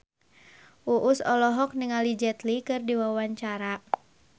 Uus olohok ningali Jet Li keur diwawancara